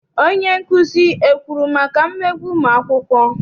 Onyenkuzi ekwuru maka mmegbu ụmụakwụkwọ?